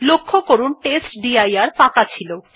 লক্ষ্য করুন টেস্টডির ফাঁকা ছিল